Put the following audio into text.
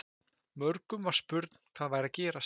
Mörgum var spurn hvað væri að gerast.